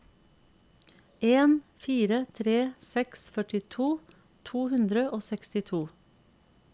en fire tre seks førtito to hundre og sekstito